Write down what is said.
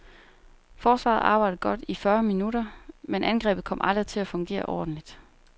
Forsvaret arbejdede godt i fyrre minutter, men angrebet kom aldrig til at fungere ordentligt.